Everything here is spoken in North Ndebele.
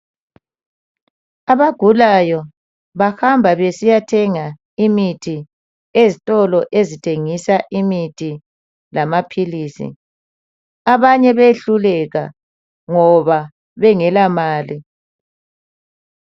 abagulayo bahamba besiyathenga imithi ezitolo ezithengisa imithi lamaphilisi abanye behluleka ngoba bengele mali